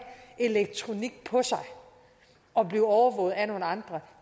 elektronik på sig og blive overvåget af nogle andre